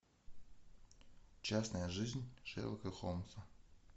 частная жизнь шерлока холмса